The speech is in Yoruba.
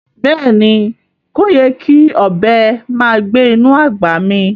Beeni, koyè́ kí ọbẹ màá gbẹ̀ inú agbá mí